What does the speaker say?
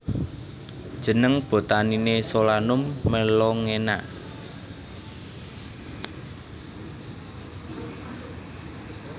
Jeneng botaniné Solanum melongena